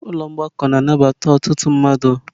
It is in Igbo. Ụlọ mgbakọ na-anabata ọtụtụ mmadụ.